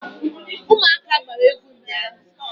Ụmụaka gbara egwu ụnyaahụ.